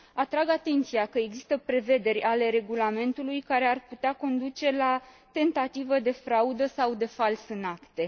Atrag atenția că există prevederi ale regulamentului care ar putea conduce la tentativă de fraudă sau de fals în acte.